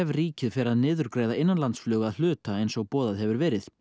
ríkið fer að niðurgreiða innanlandsflug að hluta eins og boðað hefur verið